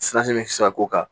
bɛ se ka k'o kan